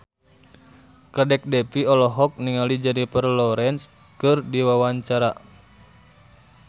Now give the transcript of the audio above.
Kadek Devi olohok ningali Jennifer Lawrence keur diwawancara